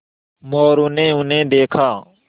मोरू ने उन्हें देखा